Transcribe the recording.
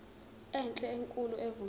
enhle enkulu evumela